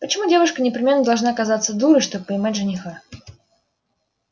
почему девушка непременно должна казаться дурой чтобы поймать жениха